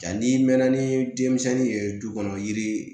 Nka n'i mɛn na ni denmisɛnnin ye du kɔnɔ yiri